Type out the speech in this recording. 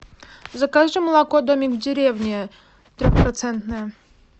закажи молоко домик в деревне трех процентное